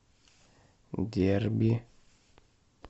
дерби